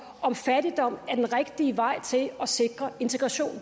om fattigdom er den rigtige vej til at sikre integration